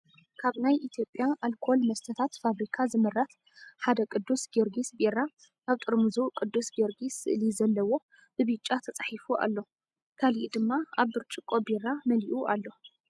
ካብ ናይ ኢትዮጵያ ኣልኮል መስተታት ፋብሪካ ዝምረት ሓደ ቅዱስ ጊዮርግስ ቢራ ኣብ ጥርሙዙ ቅዱስ ጊዮርጊስ ስእሊ ዘለዎ ብቢጫ ተፃሒፉ ኣሎ ካሊእ ድማ ኣብ ብርጭቆ ቢራ መሊኡ ኣሎ።